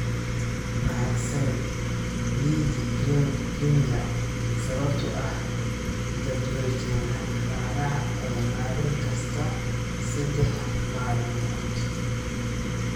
Mahadsanid Ligi Premier sababtoo ah jadwalkeena ciyaaraha ee maalin kasta saddex maalmood.